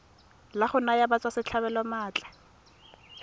la go naya batswasetlhabelo maatla